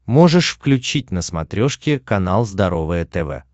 можешь включить на смотрешке канал здоровое тв